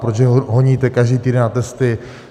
Proč je honíte každý týden na testy?